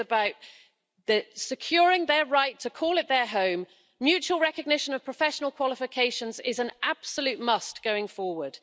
This is about securing their right to call it their home, mutual recognition of professional qualifications is an absolute must going forward.